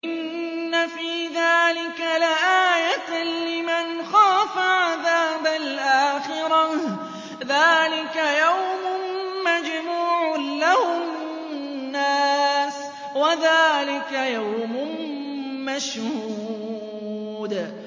إِنَّ فِي ذَٰلِكَ لَآيَةً لِّمَنْ خَافَ عَذَابَ الْآخِرَةِ ۚ ذَٰلِكَ يَوْمٌ مَّجْمُوعٌ لَّهُ النَّاسُ وَذَٰلِكَ يَوْمٌ مَّشْهُودٌ